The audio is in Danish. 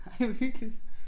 Ej hvor hyggeligt